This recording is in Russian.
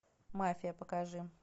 мафия покажи